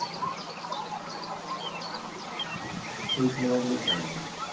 সেই cinema গুলো ভাল লাগে ।